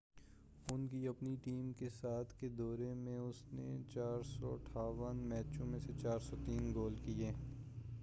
ان کی اپنی ٹیم کے ساتھ کے دور میں اس نے 468 میچوں میں 403 گول کیے